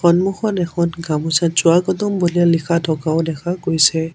সন্মুখত এখন গামোচাত স্বাগতম বুলি লিখা থকাও দেখা গৈছে।